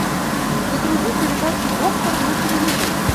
загрузи передачу доктор на телевизоре